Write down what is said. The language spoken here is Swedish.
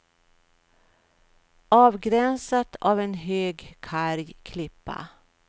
Avgränsat av en hög, karg klippa.